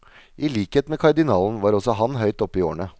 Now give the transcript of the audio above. I likhet med kardinalen, var også han høyt oppe i årene.